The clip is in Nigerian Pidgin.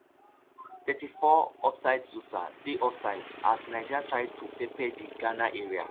thirty-four offsidesosah dey offside as niger try to pepper di ghana area